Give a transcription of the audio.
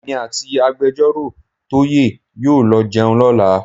Èmi àti Agbẹjọ́rọ̀ Toye yóò lọ jẹun lọ́la.